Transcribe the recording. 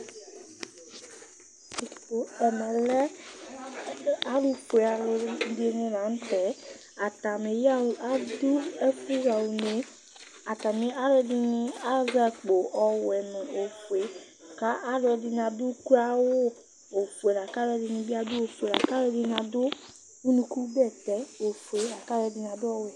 Ɛmɛlɛ alʋfue alʋdini lanʋtɛ adʋ ɛfʋxa une, atami alʋɛdini azɛ akpo ɔwɛ nʋ ofue kʋ alʋɛdini adʋ ʋkloawʋa ofue lakʋ alʋɛdini bi adʋ ofue lakʋ alʋɛdini adʋ ʋnʋkʋ bɛtɛ ofue lakʋ alʋɛdini adʋ ɔwɛ